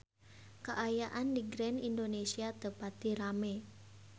Kaayaan di Grand Indonesia teu pati rame